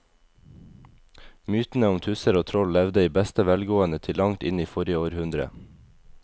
Mytene om tusser og troll levde i beste velgående til langt inn i forrige århundre.